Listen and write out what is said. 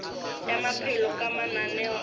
ya maphelo ka mananeo a